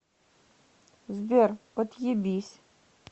сбер отъебись